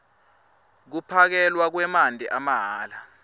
kuphakelwa kwemanti amahhala